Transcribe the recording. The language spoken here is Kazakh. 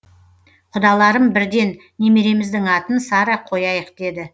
құдаларым бірден немереміздің атын сара қояйық деді